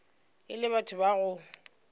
e le batho ba go